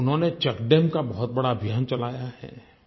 उन्होंने check dam का बहुत बड़ा अभियान चलाया है